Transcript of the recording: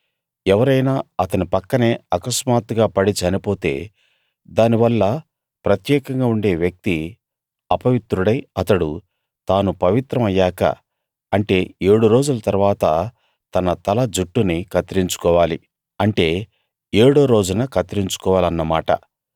ఎవరైనా అతని పక్కనే అకస్మాత్తుగా పడి చనిపోతే దానివల్ల ప్రత్యేకంగా ఉండే వ్యక్తి అపవిత్రుడైతే అతడు తాను పవిత్రం అయ్యాక అంటే ఏడు రోజుల తరువాత తన తల జుట్టుని కత్తిరించుకోవాలి అంటే ఏడో రోజున కత్తిరించుకోవాలన్నమాట